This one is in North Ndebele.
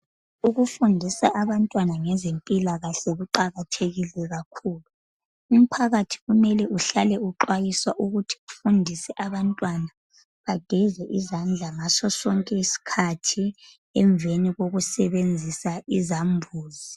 Ukufundisa abantwana ngezempilakahle kuqakathekile kakhulu. Umphakathi kumele uhlale uxwayiswa ukuthi ufundise abantwana bageze izandla ngaso sonke isikhathi emveni kokusebenzisa izambuzi